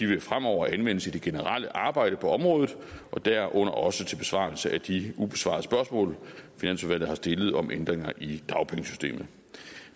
vil fremover anvendes i det generelle arbejde på området derunder også til besvarelse af de ubesvarede spørgsmål finansudvalget har stillet om ændringer i dagpengesystemet